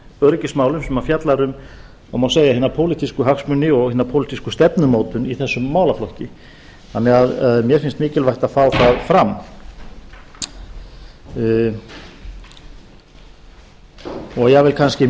öryggismálum sem fjallar um það má segja hina pólitísku hagsmuni og hina pólitísku stefnumótun í þessum málaflokki þannig að mér finnst mikilvægt að fá það fram jafnvel kannski